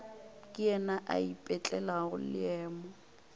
ke yena a ipetlelago leemo